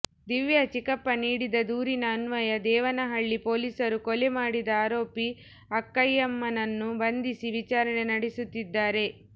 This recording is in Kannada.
ದಿವ್ಯಾ ಚಿಕ್ಕಪ್ಪ ನೀಡಿದ ದೂರಿನ ಅನ್ವಯ ದೇವನಹಳ್ಳಿ ಪೊಲೀಸರು ಕೊಲೆ ಮಾಡಿದ ಆರೋಪಿ ಅಕ್ಕಯ್ಯಮ್ಮನನ್ನು ಬಂಧಿಸಿ ವಿಚಾರಣೆ ನಡೆಸುತ್ತಿದ್ದಾರೆ